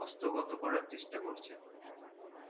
হস্ত গত করার চেষ্টা করছে